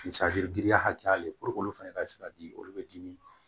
giriya hakɛya le olu fɛnɛ ka se ka di olu bɛ dimi